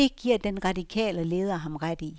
Det giver den radikale leder ham ret i.